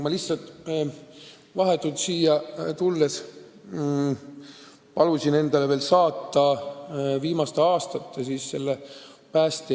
Vahetult enne siia tulekut palusin ma endale saata andmed päästjate palga tõusu kohta.